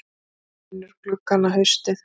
Gerður vinnur gluggana haustið